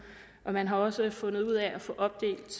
og man har også fundet ud af at få opdelt